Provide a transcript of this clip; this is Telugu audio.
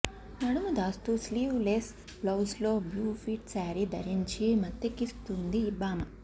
నడుము దాస్తూ స్లీవ్ లెస్ బ్లౌజ్లో బ్లూ ఫిట్ శారీ ధరించి మత్తెక్కిస్తుందీ భామ